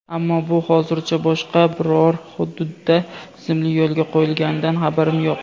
Ammo bu hozircha boshqa biror hududda tizimli yo‘lga qo‘yilganidan xabarim yo‘q.